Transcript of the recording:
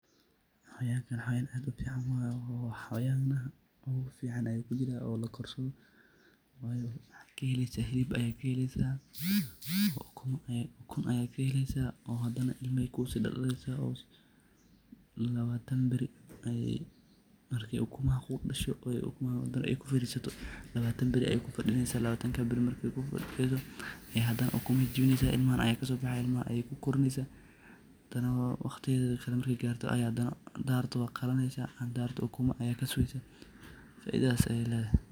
Xawayanga xawayan aad ufican waye, xawayanatha ugufican ayukujirah ini lakorsadih maxakahelysah helib ugunbaya kaheleysah hadana ilma Aya kusidaldaleysah, lawataan bari arki ukumaha kudasho handa kufarisatoh lawataan bari kufadineysah kadib Aya ukumaha jibineysah ilmaha ayaksobaxayan kadib ilmaha kukorineysah handanah waqdiyathakali marka Gartoh handa rabtoh waqaleynah handa rabtoh uguma kaleysah faithatheysah helaysah.